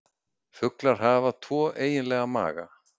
Fuglar hafa tvo eiginlega maga.